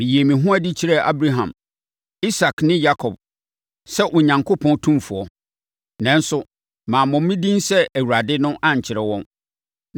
Meyii me ho adi kyerɛɛ Abraham, Isak ne Yakob sɛ Onyankopɔn tumfoɔ. Nanso, mammɔ me din sɛ Awurade no ankyerɛ wɔn.